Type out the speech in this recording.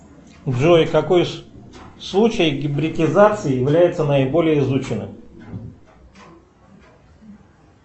джой какой случай гибридизации является наиболее изученным